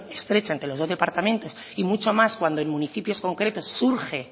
estrecha entre los dos departamentos y mucho más cuando en municipios concretos surge